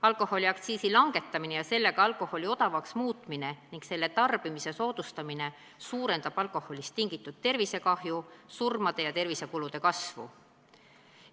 Alkoholiaktsiisi langetamine ja sellega alkoholi odavamaks muutmine ning selle tarbimise soodustamine suurendab alkoholist tingitud tervisekahju, surmade ning tervishoiukulude kasvu.